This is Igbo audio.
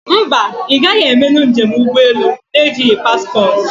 Mba, ị gaghị emenụ njem ụgbọ elu na ejighị paspportị